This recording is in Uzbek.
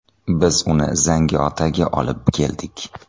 Biz uni Zangiotaga olib keldik.